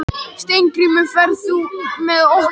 Steingrímur, ferð þú með okkur á mánudaginn?